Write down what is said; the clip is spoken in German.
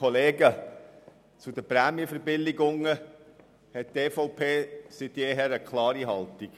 Zu den Prämienverbilligungen hat die EVP seit jeher eine klare Haltung.